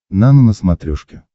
нано на смотрешке